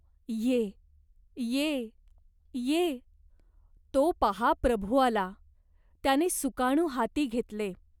ये ये ये." "तो पाहा प्रभु आला. त्याने सुकाणू हाती घेतले.